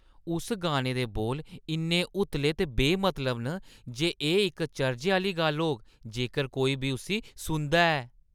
उस गाने दे बोल इन्ने उतले ते बेमतलब न जे एह्‌ इक चर्जै आह्‌ली गल्ल होग जेकर कोई बी उस्सी सुनदा ऐ ।